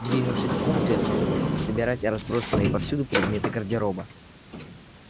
двинувшись в комнату я стал э собирать разбросанные повсюду предметы гардероба